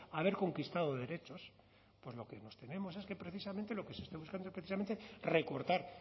haber conquistado derechos pues lo que nos tememos es que precisamente lo que se está buscando es precisamente recortar